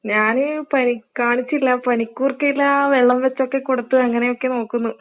ഞാന് പനി കാണിച്ചില്ല, പനിക്കുർക്കയിലാ വെള്ളം വെച്ചൊക്കെ കൊടുത്തു അങ്ങനെയൊക്കെ നോക്കുന്നു.